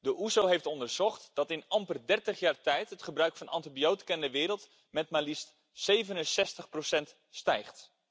De OESO heeft onderzocht dat in amper dertig jaar tijd het gebruik van antibiotica in de wereld met maar liefst 67 is gestegen.